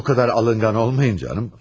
Bu qədər alınqan olmayın canım.